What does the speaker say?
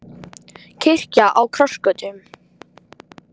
Kirkja á krossgötum